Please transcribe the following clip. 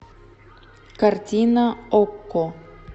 картина окко